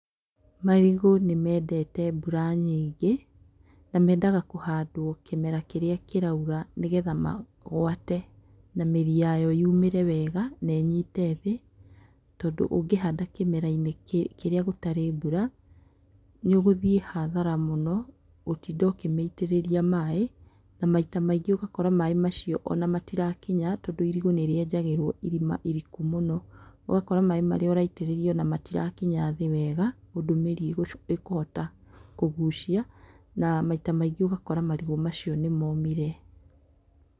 Marigũ nĩ mendete mbura nyingĩ na mendaga kũhandwo kĩmera kĩrĩa kĩraura nĩ getha magwate na mĩri yayo yumĩre wega na ĩnyite thĩ tondũ ũngĩhanda kĩmera-inĩ kĩrĩa gũtarĩ mbura nĩ gũthiĩ hathara mũno gũtinda ũkĩmĩitĩrĩria maĩ na maita maingĩ ũgakora maĩ macio ona matirakinya tondũ irigũ nĩrĩenjagĩrwo irima iriku mũno, ũgakora maĩ marĩa ũraitĩrĩria ona matirakinya thĩ wega ũndũ mĩri ĩkũhota kũgucia na maita maingĩ ũgakora marigũ macio nĩ momire.